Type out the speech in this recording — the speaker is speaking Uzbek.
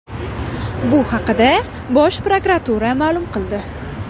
Bu haqda Bosh prokuratura ma’lum qildi.